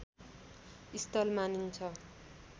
स्थल मानिन्छ